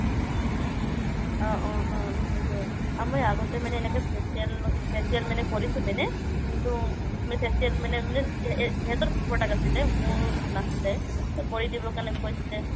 অহ অহ অহ সেইটো আমি আগতে মানে এনেকে facial, facial কৰিছো মানে কিন্তু facial মানে সিহতৰ product আছিলে মোৰ নাছিলে তৌ কৰি দিব কাৰণে কৈছিলে